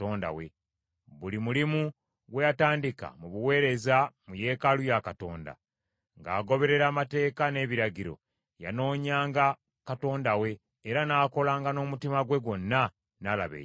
Buli mulimu gwe yatandika mu buweereza mu yeekaalu ya Katonda, ng’agoberera amateeka n’ebiragiro, yanoonyanga Katonda we, era n’akolanga n’omutima gwe gwonna, n’alaba omukisa.